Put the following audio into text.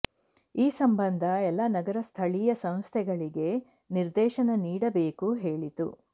ಈ ಸಂಬಂಧ ಎಲ್ಲಾ ನಗರ ಸ್ಥಳೀಯ ಸಂಸ್ಥೆಗಳಿಗೆ ನಿರ್ದೇಶನ ನೀಡಬೇಕು ಹೇಳಿತು